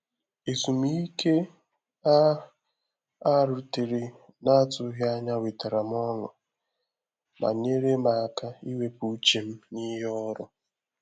Ezùmíkè a a rutere n’atụghị ànyà wetara m ọṅụ, ma nyeere m áká iwepụ uche m n’ìhè ọrụ